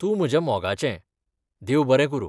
तूं म्हज्या मोगाचें! देव बरें करूं.